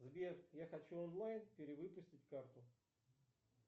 сбер я хочу онлайн перевыпустить карту